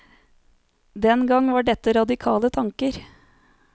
Den gang var dette radikale tanker.